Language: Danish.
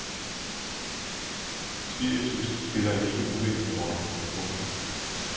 Spiritus spiller en ikke uvæsentlig rolle. punktum